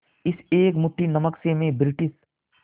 इस एक मुट्ठी नमक से मैं ब्रिटिश